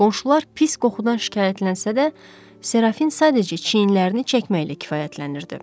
Qonşular pis qoxudan şikayətlənsə də, Serafin sadəcə çiyinlərini çəkməklə kifayətlənirdi.